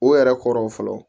O yɛrɛ kɔrɔ fɔlɔ